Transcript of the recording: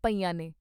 ਪਈਆਂ ਨੇ।